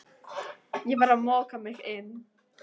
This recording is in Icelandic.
Ég var að moka mig inn